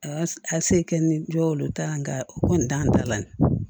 A a se kɛ ni jɔ olu ta ye nka o kɔni t'an ta la